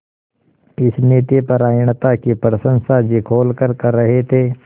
इस नीतिपरायणता की प्रशंसा जी खोलकर कर रहे थे